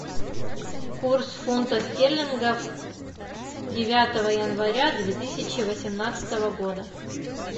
курс фунта стерлингов девятого января две тысячи восемнадцатого года